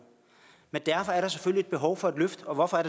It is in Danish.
men der er selvfølgelig behov for et løft og hvorfor er